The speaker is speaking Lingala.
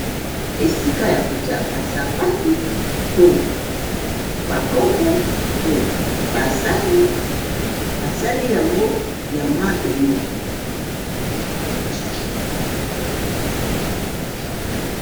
Esika ya kotia basapatu, to ba kopo, to ba sani. Ba sali yango ya mabende.